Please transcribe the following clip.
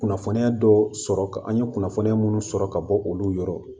Kunnafoniya dɔw sɔrɔ ka an ye kunnafoniya munnu sɔrɔ ka bɔ olu yɔrɔ